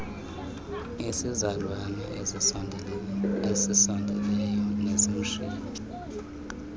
isizalwane esisondeleyo nesimshiya